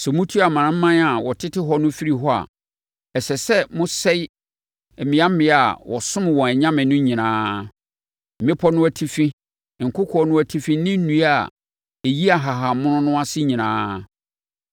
Sɛ motu amanaman a wɔtete hɔ no firi hɔ a, ɛsɛ sɛ mosɛe mmeammea a wɔsom wɔn anyame no nyinaa—mmepɔ no atifi, nkokoɔ no atifi ne nnua a ɛyi nhahammono no ase nyinaa.